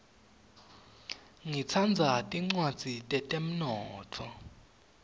ngitsandza tincwadzi tetemnotfo